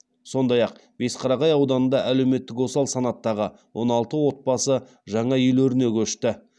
сондай ақ бесқарағай ауданында әлеуметтік осал санаттағы он алты отбасы жаңа үйлеріне көшті